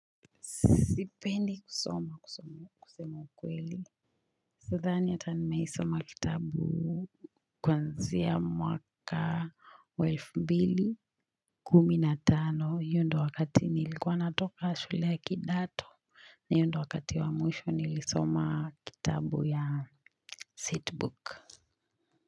Sipendi kusoma kusema ukweli sidhani hata nimewahisoma kitabu kuanzia mwaka wa elfu mbili kumi na tano hio ndo wakati nilikuwa natoka shule ya kidato hio ndio wakati wa mwisho nilisoma kitabu ya setbook.